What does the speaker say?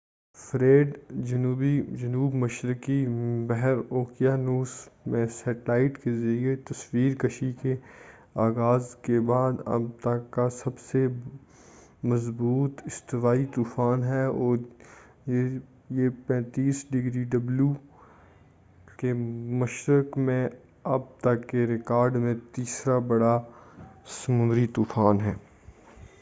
Fred, جنوب مشرقی بحر اوقیانوس میں سیٹلائٹ کے ذریعہ تصویر کشی کے آغاز کے بعد اب تک کا سب سے مضبوط استوائی طوفان ہے، اور یہ 35 ° ڈبلیو کے مشرق میں اب تک کے ریکارڈ کا تیسرا بڑا سمندری طوفان ہے۔